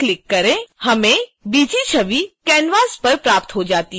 हमें bg छवि canvas पर प्राप्त हो जाती है